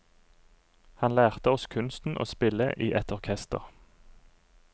Han lærte oss kunsten å spille i et orkester.